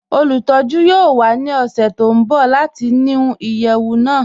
Olùtọ̀jú yoo wà ní ọṣẹ̀ tó n bọ̀ láti nú iyeẹwù náà